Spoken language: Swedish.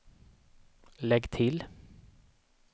lägg till